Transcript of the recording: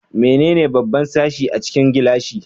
Menene babban sashi a cikin gilashi?